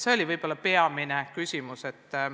See oligi võib-olla peamine küsimus.